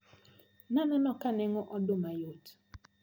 Naneno ka nengo oduma neyot.